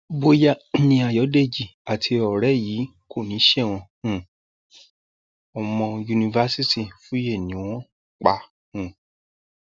bóyá ni ayọdèjì àti ọrẹ yìí kọni sẹwọn um o ọmọ yunifásitì fúòye ni wọn pa um